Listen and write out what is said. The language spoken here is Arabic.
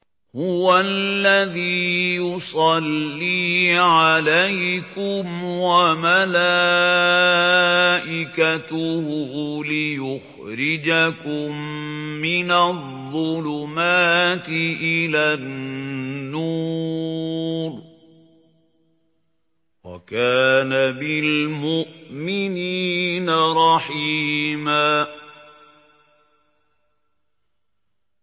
هُوَ الَّذِي يُصَلِّي عَلَيْكُمْ وَمَلَائِكَتُهُ لِيُخْرِجَكُم مِّنَ الظُّلُمَاتِ إِلَى النُّورِ ۚ وَكَانَ بِالْمُؤْمِنِينَ رَحِيمًا